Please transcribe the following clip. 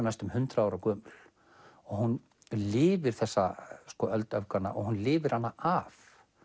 næstum hundrað ára gömul hún lifir þessa öld öfganna og hún lifir hana af